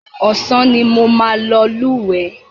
Ọ̀sán ni mo máa lúwẹ̀ẹ́.